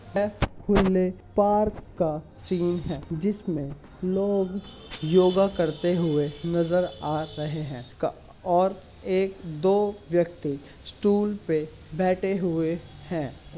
Park का scene है जिसमें लोग योगा करते हुए नज़र आ रहे हैं और एक दो व्यक्ति स्टूल पे बैठे हुए हैं।